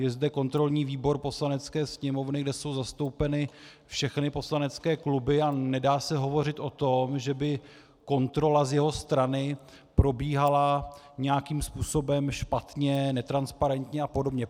Je zde kontrolní výbor Poslanecké sněmovny, kde jsou zastoupeny všechny poslanecké kluby, a nedá se hovořit o tom, že by kontrola z jeho strany probíhala nějakým způsobem špatně, netransparentně a podobně.